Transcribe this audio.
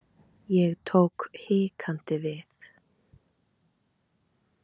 Ég tók hikandi við.